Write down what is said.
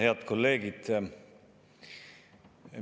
Head kolleegid!